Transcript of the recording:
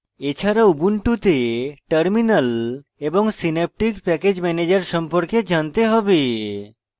এছাড়া ubuntu terminal এবং synaptic package manager সম্পর্কে জানতে have